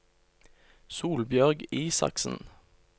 Solbjørg Isaksen